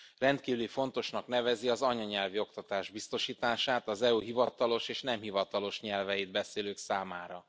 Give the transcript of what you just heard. Rendkívül fontosnak nevezi az anyanyelvi oktatás biztosítását az EU hivatalos és nem hivatalos nyelveit beszélők számára.